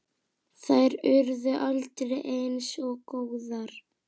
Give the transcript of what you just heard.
Þær urðu aldrei eins góðar.